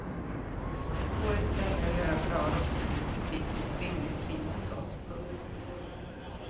Det går inte längre att göra bra rostfritt bestick till ett rimligt pris hos oss. punkt